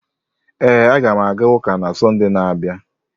Ee, a ga m aga ụka na Sọnde na-abịa.